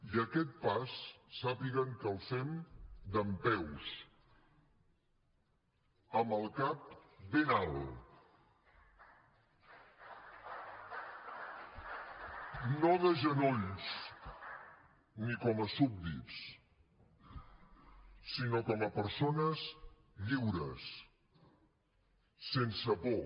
i aquest pas sàpiguen que el fem dempeus amb el cap ben alt no de genolls ni com a súbdits sinó com a persones lliures sense por